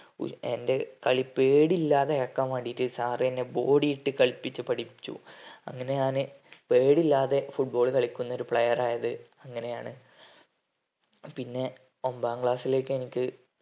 ഏർ എൻ്റെ കളി പേടിയില്ലാതെ ആക്കാൻ വേണ്ടിയിട്ട് sir എന്നെ body ഇട്ട് കളിപ്പിച്ച് പഠിപ്പിച്ചു അങ്ങനെ ഞാന് പേടിയില്ലാതെ football കളിക്കുന്ന ഒരു player ആയത് അങ്ങനെയാണ് പിന്നെ ഒമ്പതാം class ലേക്ക് എനിക്ക്